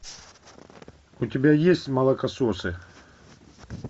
у тебя есть молокососы